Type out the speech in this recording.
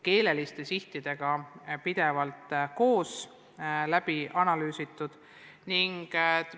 Pidevalt tuleb analüüsida, kuidas peetakse silmas keelelisi sihte.